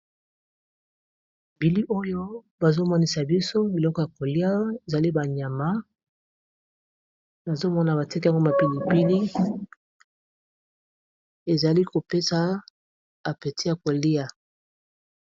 Bili oyo bazomonisa biso biloko ya kolia ezali ba nyama nazomona batiaki yango ma pilipili ezali kopesa appeti ya kolia.